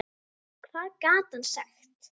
Hvað gat hann sagt?